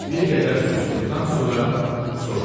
Bir qədər susduqdan sonra soruşdu: